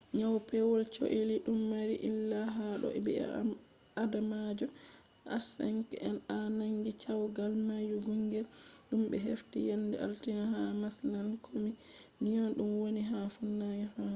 nyau pewol cholli dum mari illa ha do bi'adamajo h5n1 nangi caygal mayungel dum be hefti yende altine ha marshland kombi lyon dum woni ha funange france